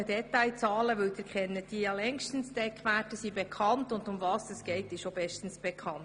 Sie kennen diese längst, die Eckwerte sind bekannt, und worum es geht, wissen Sie auch.